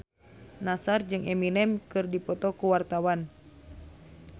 Nassar jeung Eminem keur dipoto ku wartawan